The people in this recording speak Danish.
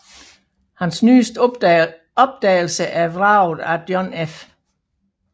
Hans nyeste opdagelse er vraget af John F